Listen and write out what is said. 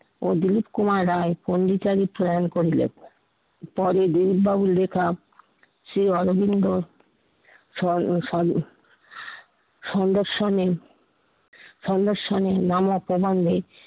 ও দিলিপ কুমার রায় পন্ডিচারী স্লান করিলেন। পরে দিলিপ বাবুর লেখা শ্রী অরবিন্দ স্বরণে স্বরণে স্বরণে স্বরণে স্বরণে স্বরণে মান অপমানে